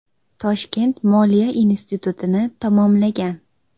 Toshkent moliya institutini tamomlagan.